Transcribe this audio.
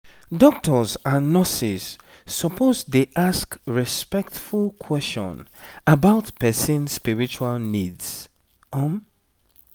doctors and nurses suppose dey ask respectful question about person spiritual needs um